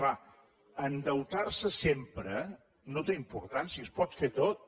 és clar endeutar se sempre no té importància es pot fer tot